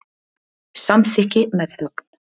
Samþykki með þögn.